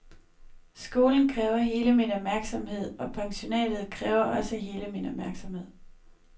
Skolen kræver hele min opmærksomhed, og pensionatet kræver også hele min opmærksomhed.